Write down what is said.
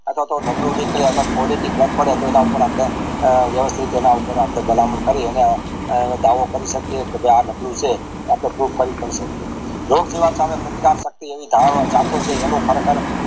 અથવા તો નબળું નીકળે અથવા તો quality નું ફેર પડે પડે તો ઉપર આપડે વ્યવસ્થિતઃ એઉપર આપણે ભલામણ કરીએ અને દાવો કરી શકીએ અને કે આ નબળું છે આપણે proof કરી પણ સકિયે એનું કેવા સામે પ્રતિકાર એવી ધારણા